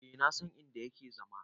E na san in da yake zama.